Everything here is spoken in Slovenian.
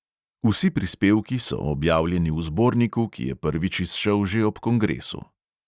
(vsi prispevki so objavljeni v zborniku, ki je prvič izšel že ob kongresu.)